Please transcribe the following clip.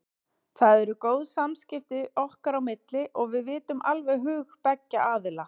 Það eru góð samskipti okkar á milli og við vitum alveg hug beggja aðila.